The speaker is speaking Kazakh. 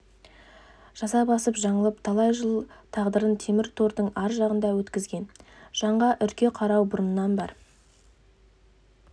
жаза басып жаңылып талай жыл тағдырын темір тордың ар жағында өткізген жанға үрке қарау бұрыннан бар